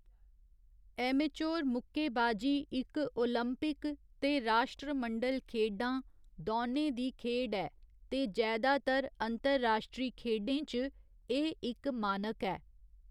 Amateur मुक्केबाजी इक Olympic ते राश्ट्रमंडल खेढां दोनें दी खेढ ऐ ते जैदातर अंतरराश्ट्ररी खेढें च एह् इक मानक ऐ।